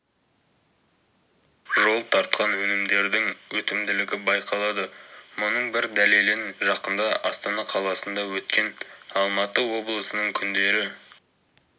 жол тартқан өнімдердің өтімділігі байқалады мұның бір дәлелін жақында астана қаласында өткен алматы облысының күндері